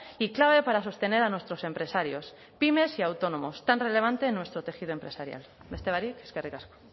y clave para sostener a nuestros empresarios pymes y autónomos tan relevante en nuestro tejido empresarial beste barik eskerrik asko